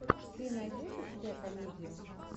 ты найдешь у себя комедию